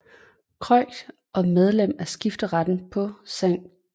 Croix og medlem af skifteretten på St